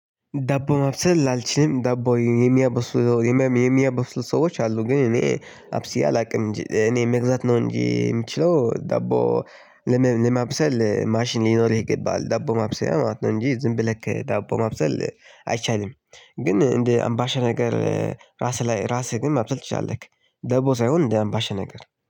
ዳቦ ማብሰል አልችልም ዳቦ የሚያበሱ የሚያበስሉ ሰዎች አሉ። ግን እኔ አብስዬ አላውቅም እኔ የምግዛት ነው እንጂ የምችለው ዳቦ። ለማብሰል ማሽን ሊኖርህ ይገባል ዳቦ ማብሰያ ማለት ነው እንጂ ዝም ብለክ ዳቦ ማብሰል አይቻልም። ግን እንደ አምባሻ ነገር ራስህ ላይ ራስህን ማብሰል ትችላለህ። ደቦ ሳይሆን እንደ አምባሽ ነገር